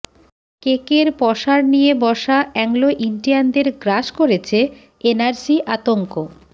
কেকের পসার নিয়ে বসা অ্যাংলো ইন্ডিয়ানদের গ্রাস করেছে এনআরসি আতঙ্ক